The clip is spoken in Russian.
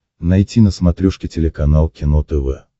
найти на смотрешке телеканал кино тв